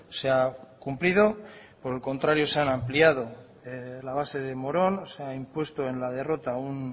se ha cumplido por el contrario se han ampliado la base de morón se ha impuesto en la derrota un